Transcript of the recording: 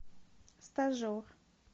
стажер